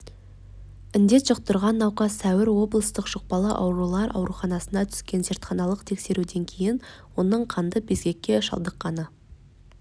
індет жұқтырған науқас сәуір облыстық жұқпалы аурулар ауруханасына түскен зертханалық тексеруден кейін оның қанды безгекке шалдыққаны